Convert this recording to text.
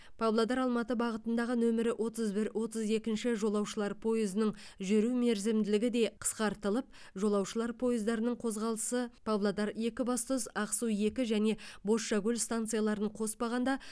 павлодар алматы бағытындғы нөмірі отыз бір отыз екінші жолаушылар пойызының жүру мерзімділігі де қысқартылып жолаушылар пойыздарының қозғалысы павлодар екібастұз ақсу екі және бозшакөл станцияларын қоспағанда